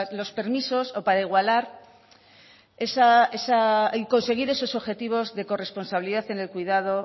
los permisos o para igualar y conseguir esos objetivos de corresponsabilidad en el cuidado